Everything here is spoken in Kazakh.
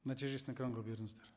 нәтижесін экранға беріңіздер